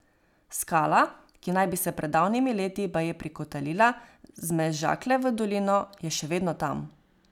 Skala, ki naj bi se pred davnimi leti baje prikotalila z Mežakle v dolino, je še vedno tam.